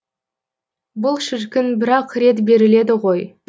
бұл шіркін бір ақ рет беріледі ғой